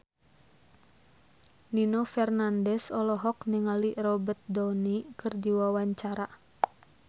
Nino Fernandez olohok ningali Robert Downey keur diwawancara